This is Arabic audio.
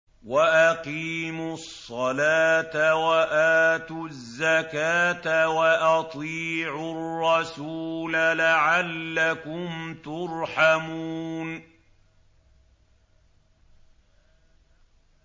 وَأَقِيمُوا الصَّلَاةَ وَآتُوا الزَّكَاةَ وَأَطِيعُوا الرَّسُولَ لَعَلَّكُمْ تُرْحَمُونَ